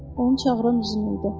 Onu çağıran Uits idi.